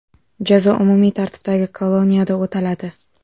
Jazo umumiy tartibdagi koloniyada o‘taladi.